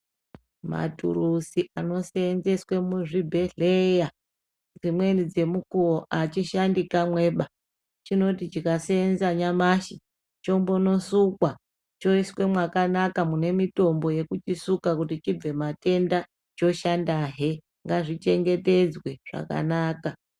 Maturuzi ano seenzeswe muzvibhedhleya dzimweni dzemukuwo achishandi kwamweba chinoti chikaseenza nyamashi chombono sukwa choiswe mwakanaka mune mitombo yekuchisuka kuti chibve matenda, choshandahe. Ngazvi chengetedzwe zvakanaka.